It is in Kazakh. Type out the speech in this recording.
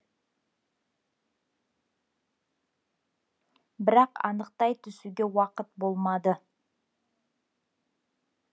бірақ анықтай түсуге уақыт болмады